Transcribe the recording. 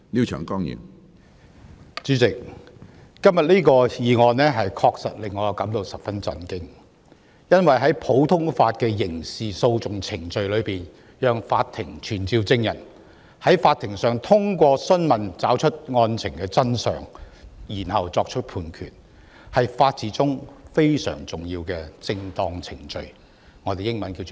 主席，今天這項議案確實令我感到十分震驚，因為在普通法的刑事訴訟程序中，讓法庭傳召證人，在法庭上通過訊問找出案情真相，然後作出判決，是法治中非常重要的"正當程序"。